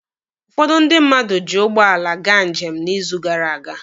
Ụfọdụ ndị mmadụ ji ụgbọala gaa njem n'izu gara aga.